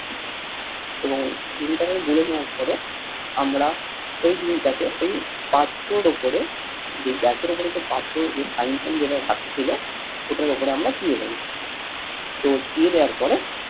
এবং ডিমটাকে গুলে নেওয়ার পরে আমরা ওই ডিমটাকে এই পাত্রর ওপরে যে গ্যাসের ওপরে যে পাত্র যে frying যেটা রাখা ছিল ওটার ওপরে আমরা দিয়ে দেব। তো দিয়ে দেওয়ার পরে